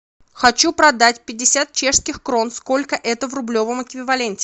хочу продать пятьдесят чешских крон сколько это в рублевом эквиваленте